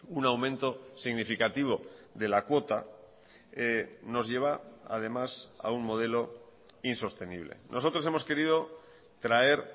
un aumento significativo de la cuota nos lleva además a un modelo insostenible nosotros hemos querido traer